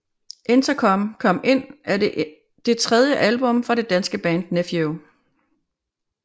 Interkom Kom Ind er det tredje album fra det danske band Nephew